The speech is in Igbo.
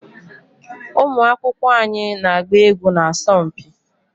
ụmụ akwụkwọ anyị na-agba egwu na asọmpi